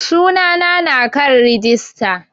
Sunana na kan rijista